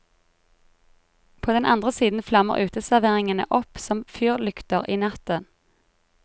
På den andre siden flammer uteserveringene opp som fyrlykter i natten.